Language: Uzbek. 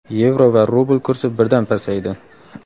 yevro va rubl kursi birdan pasaydi.